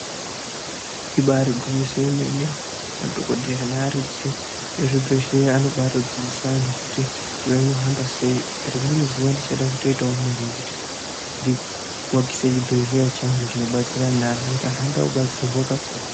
Ibari gwinyiso yomene madhokodheya nearidzi ezvibhedhlera anobatodzidzisa antu kuti anohamba sei rimweni zuwa ndichada kutoitawo mare yekuti kuakise chibhedhlera chinobatsira anhu notuti anhu anoda kudetsera pakuru.